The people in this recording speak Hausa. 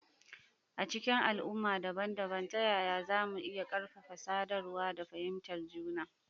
A cikin al'umma dabam-dabam, ta yaya za mu iya ƙarfafa sadarwa da fahimtar juna?